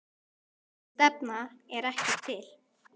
Slík stefna er ekki til.